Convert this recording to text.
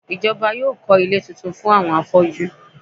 Ìjọba yóò kọ́ ilé tuntun fún àwọn afọ́jú.